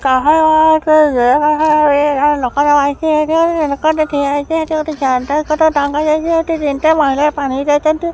କହ ଲୋକଟେ ବଇଚି ଏଇଠି ଗୋଟେ ଲୋକଟେ ଠିଆ ହେଇଚି ହେଠି ଗୋଟେ ଚାର୍ଜର୍ ଗୋଟେ ଟଙ୍ଗା ଯାଇଚି ହେଠି ତିନି ଟା ମହିଳା ପାଣିକି ଯାଇଚନ୍ତି।